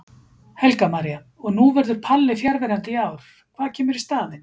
Helga María: Og nú verður Palli fjarverandi í ár, hvað kemur í staðinn?